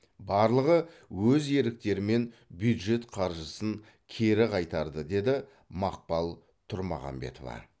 барлығы өз еріктерімен бюджет қаржысын кері қайтарды деді мақпал тұрмағамбетова